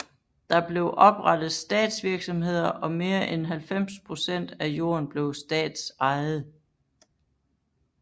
Der blev oprettet statsvirksomheder og mere end 90 procent af jorden blev statsejet